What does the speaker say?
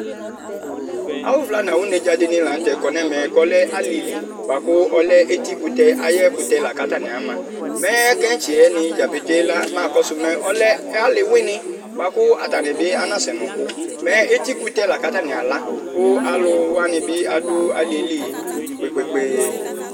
Awu vla nu awunedzadini lakɔ nu ɛvɛ ku ɔlɛ alili buaku eyi kutɛ ni la atani ama mɛ kɛtsɛni dzapete la mamu nu ɔlɛ ali wuini buaku atani anasɛ nɔku eti kutɛ ku katani ala aluwani bi adu ali yɛ li kpekpe